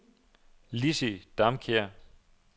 Lizzie Damkjær